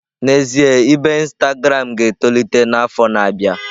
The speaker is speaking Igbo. N'ezie, ibe Instagram m ga-etolite n'afọ na-abịa.